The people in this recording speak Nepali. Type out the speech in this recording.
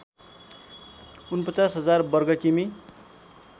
४९००० वर्ग किमि